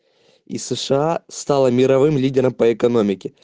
из сша стала мировым лидером по экономики